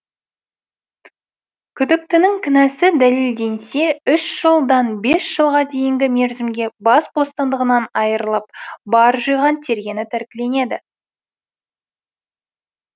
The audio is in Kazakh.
күдіктінің кінәсі дәлелденсе үш жылдан бес жылға дейінгі мерзімге бас бостандығынан айырылып бар жиған тергені тәркіленеді